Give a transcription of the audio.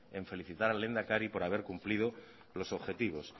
en felicitar al lehendakari por haber cumplido los objetivos